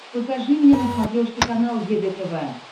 покажи мне на смотрешке канал егэ тв